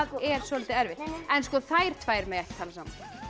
er soldið erfitt en þær tvær mega ekki tala saman